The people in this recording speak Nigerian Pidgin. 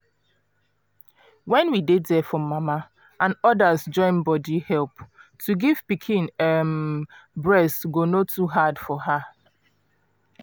when we dey there for mama and others join body help to give pikin um breast go no too hard for her